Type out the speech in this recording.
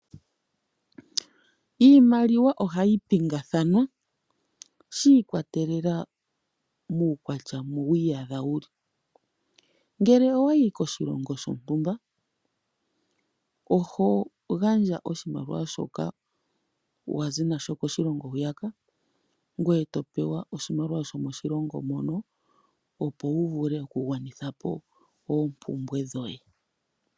Iimaliwa ohayi pingakanithwa shiikwatelela kuukwatya mo wu iyadha wuli, ngele owa yi koshilongo shontumba oho gandja oshimaliwa shoka wa zi nasho koshilongo hwiyaka ngoye topewa oshimaliwa shomoshilongo mono, opo wu vule oku gwanitha po oompumbwe dhoye.